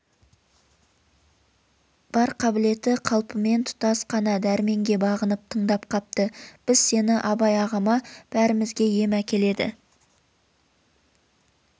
бар қабілеті қалпымен тұтас қана дәрменге бағынып тындап капты біз сені абай ағама бәрімізге ем әкеледі